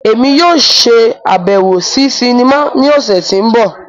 Emi yóò ṣabẹwo si sinima ni ọsẹ ti n bọ.